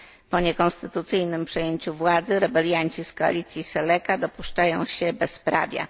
Po niekonstytucyjnym przejęciu władzy rebelianci z koalicji Seleka dopuszczają się bezprawia.